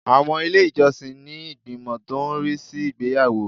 Àwọn ilé ìjọsìn ní ìgbìmọ̀ tó ń rí sí ìgbéyàwó